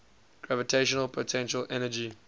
gravitational potential energy